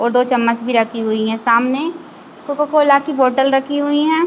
और दो चम्मच भी रखी हुईं हैं सामने कोका कोला की बॉटल रखी हुईं हैं।